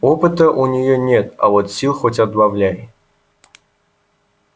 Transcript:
опыта у неё нет а вот сил хоть отбавляй